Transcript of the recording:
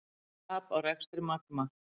Tap á rekstri Magma